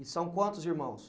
E são quantos irmãos?